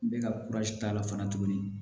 N bɛ ka k'a la fana tuguni